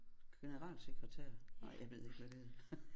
Generalsekretær nej jeg ved ikke hvad det hedder